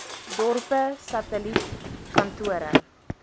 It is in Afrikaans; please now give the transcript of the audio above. dorpe satelliet kantore